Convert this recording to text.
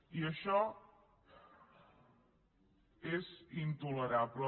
i això és intolerable